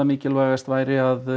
mikilvægast væri að